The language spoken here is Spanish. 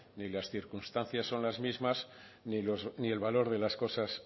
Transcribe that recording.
ni las circunstancias son las mismas ni el valor de las cosas